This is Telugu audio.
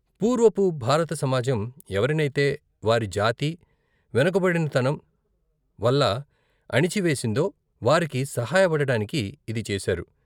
పూర్వపు భారత సమాజం ఎవరినైతే వారి జాతి, వెనుకబడినతనం వల్ల అణిచివేసిందో, వారికి సహాయపడడానికి ఇది చేశారు.